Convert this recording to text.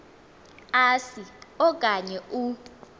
asi okanye u